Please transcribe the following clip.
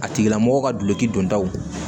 A tigila mɔgɔ ka duloki don daw